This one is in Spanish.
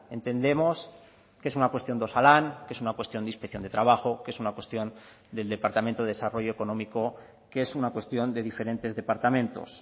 entendemos que es una cuestión de osalan que es una cuestión de inspección de trabajo que es una cuestión del departamento de desarrollo económico que es una cuestión de diferentes departamentos